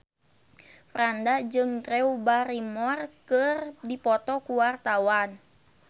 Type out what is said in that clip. Franda jeung Drew Barrymore keur dipoto ku wartawan